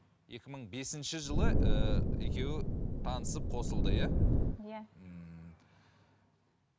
екі мың бесінші жылы ііі екеуі танысып қосылды иә иә ммм